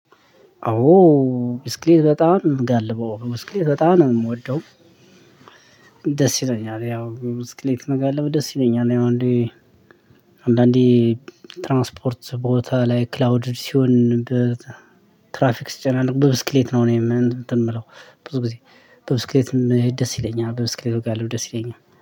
አዎ ብስክሌት በጣም ምጋልበው ብስክሌት በጣም ነው የምወደው። ደስ ይለኛል ያው ብስክሌት መጋለብ ደስ ይለኛል ያው አንዳንዴ አንዳንዴ ትራንስፖርት ቦታ ላይ ክላውድ ሲሆን ትራፍክ ስጨናነቅ ብዙ ብስክሌት ነው እኔ እንትን የምለው ብዙ ግዜ በ ብስክሌትም ብሄድ ደስ ይለኛል። ብስክሌት ብጋልብ ደስ ይለኛል።